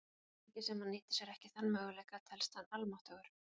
Svo lengi sem hann nýtir sér ekki þann möguleika, telst hann almáttugur.